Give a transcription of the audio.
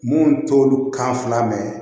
Mun t'olu kan fila mɛn